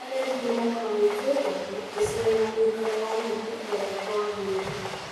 Agendi nĩ mokaga gũkũ Uganda gũcerera ũikaro wa nyamũ na ũthaka wa bũrũri